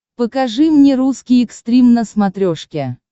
покажи мне русский экстрим на смотрешке